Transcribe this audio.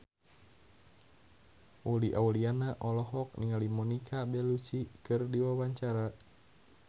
Uli Auliani olohok ningali Monica Belluci keur diwawancara